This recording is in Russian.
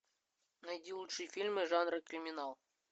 найди лучшие фильмы жанра криминал